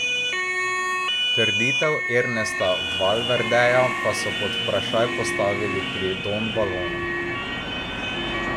Trditev Ernesta Valverdeja pa so pod vprašaj postavili pri Don Balonu.